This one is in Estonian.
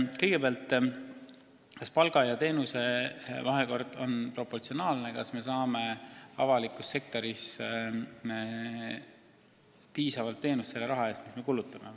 Kõigepealt, kas palgad on teenustega proportsioonis, kas me saame avalikus sektoris piisavat teenust selle raha eest, mis me kulutame?